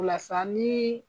O la sa , ni